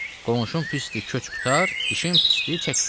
Qonşun pisdi, köç qurtar, dişin pisdi, çək qurtar.